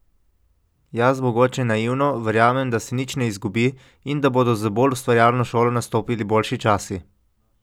Jaz, mogoče naivno, verjamem, da se nič ne izgubi, in da bodo z bolj ustvarjalno šolo nastopili boljši časi.